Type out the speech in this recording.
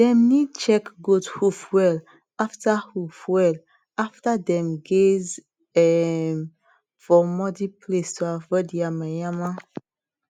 dem need check goat hoof well after hoof well after dem gaze um for muddy place to avoid yama yama